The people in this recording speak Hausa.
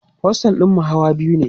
ostel ɗinmu Hawa biyu ne